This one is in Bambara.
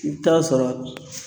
I bɛ t'a sɔrɔ